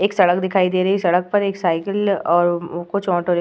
एक सड़क दिखाई दे रही। सड़क पर एक साइकिल और कुछ ऑटो रिक् --